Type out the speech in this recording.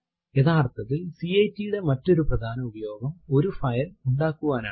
യഥാർത്ഥത്തിൽ കാട്ട് യുടെ മറ്റൊരു പ്രധാന ഉപയോഗം ഒരു ഫൈൽ ഉണ്ടാക്കുവനാണ്